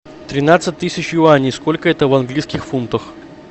тринадцать тысяч юаней сколько это в английских фунтах